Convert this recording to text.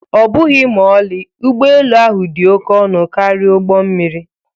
Ọbụghị ma ọlị, ụgbọ elu ahụ dị oke ọnụ karịa ụgbọ mmiri